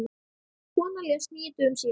Konan lést níu dögum síðar.